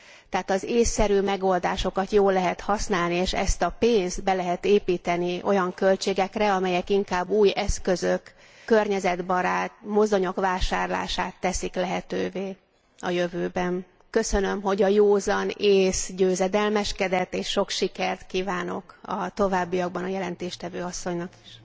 Tehát az ésszerű megoldásokat jól lehet használni, és ezt a pénzt be lehet építeni olyan költségekre, amelyek inkább új eszközök, környezetbarát mozdonyok vásárlását teszik lehetővé a jövőben. Köszönöm, hogy a józan ész győzedelmeskedett, és sok sikert kívánok a továbbiakban a jelentéstevő asszonynak is.